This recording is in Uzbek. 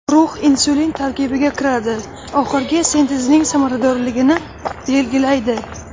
Rux insulin tarkibiga kiradi, oxirgi sintezining samaradorligini belgi laydi.